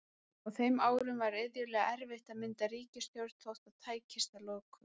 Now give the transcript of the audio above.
Á þeim árum var iðulega erfitt að mynda ríkisstjórn þótt það tækist að lokum.